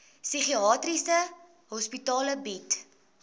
psigiatriese hospitale bied